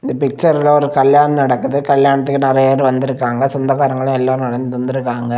இந்த பிச்சர்ல ஒரு கல்யாணம் நடக்குது கல்யாணத்துக்கு நறைய பேர் வந்துருக்காங்க சொந்தக்காரங்க எல்லாரும் வந்துருக்காங்க.